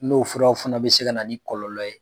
N'o furaw fana bɛ se ka na ni kɔlɔlɔ ye